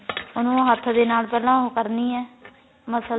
ਉਹਨੂੰ ਹੱਥ ਦੇ ਨਾਲ ਪਹਿਲਾਂ ਉਹ ਕਰਨੀ ਏ ਮਸਲਣੀ